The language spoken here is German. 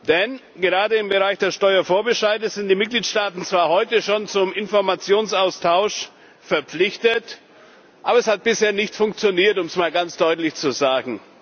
Denn gerade im Bereich des Steuervorbescheides sind die Mitgliedsstaaten zwar heute schon zum Informationsaustausch verpflichtet, aber es hat bisher nicht funktioniert um es mal ganz deutlich zu sagen.